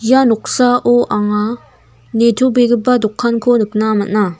ia noksao anga nitobegipa dokanko nikna man·a.